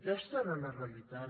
aquesta era la realitat